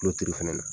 Kulo turu fana na